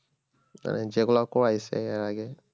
এই যেগুলা করাইছে এর আগে